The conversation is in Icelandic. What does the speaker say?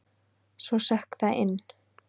Svo sökk það inn.